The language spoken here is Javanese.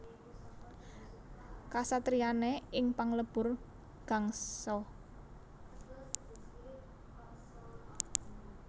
Kasatriyané ing Panglebur Gangsa